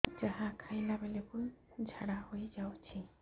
ଯାହା ଖାଇଲା ବେଳକୁ ଝାଡ଼ା ହୋଇ ଯାଉଛି